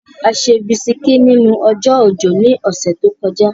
A ṣe bisikí nínú ọjọ́ òjò ní ọ̀sẹ̀ tó kọjá.